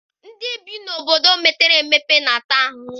Ndị bi n'obodo mepere emepe na-ata ahụhụ.